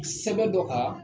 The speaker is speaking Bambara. Sɛbɛ dɔ kan